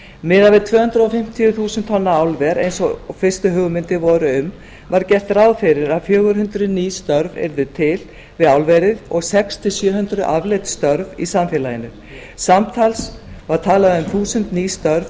miðað við tvö hundruð fimmtíu þúsund tonna álver eins og fyrstu hugmyndir voru um var gert ráð fyrir að fjögur hundruð ný störf yrðu til við álverið og sex hundruð til sjö hundruð afleidd störf í samfélaginu samtals var talað um þúsund ný störf